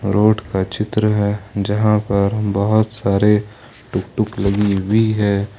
Road का चित्र है जहां पर बहोत सारे टुकटुक लगी हुई है।